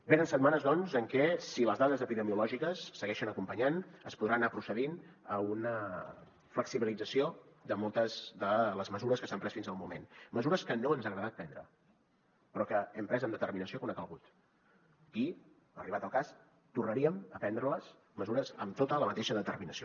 venen setmanes doncs en què si les dades epidemiològiques segueixen acompanyant es podrà anar procedint a una flexibilització de moltes de les mesures que s’han pres fins al moment mesures que no ens ha agradat prendre però que hem pres amb determinació quan ha calgut i arribat el cas tornaríem a prendre les les mesures amb tota la mateixa determinació